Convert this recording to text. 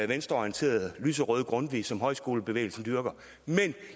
venstreorienterede lyserøde grundtvig som højskolebevægelsen dyrker men